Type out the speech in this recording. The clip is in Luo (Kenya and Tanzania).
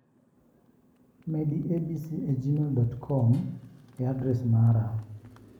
Medi abc e gmail, com e adres mara.